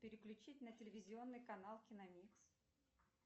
переключить на телевизионный канал киномикс